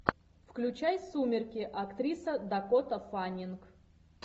включай сумерки актриса дакота фаннинг